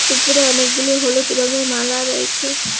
উপরে অনেকগুলি হলুদ রঙের মালা রয়েছে।